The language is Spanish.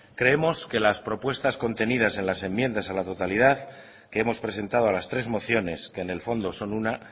creemos que las propuestas contenidas en las enmiendas a la totalidad que hemos presentado a las tres mociones que en el fondo son una